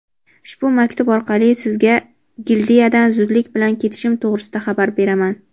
Ushbu maktub orqali sizga Gildiyadan zudlik bilan ketishim to‘g‘risida xabar beraman.